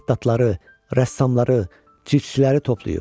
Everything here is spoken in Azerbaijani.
Xəttatları, rəssamları, cildçiləri toplayıb.